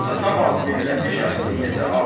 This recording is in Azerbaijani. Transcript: Satamaz milləti şəxsiyyətə aqil.